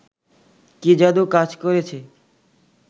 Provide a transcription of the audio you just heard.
কি যাদু কাজ করেছে